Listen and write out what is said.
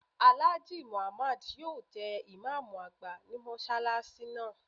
Alhaji Muhammad yóò jẹ imam agba ni mọsalasi naa